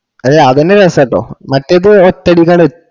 അല്ല അതെന്നെ രസാട്ടോ മറ്റേത് ഒറ്റയടിക്ക്‌ അട് എത്